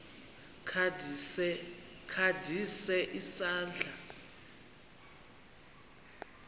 kha ndise isandla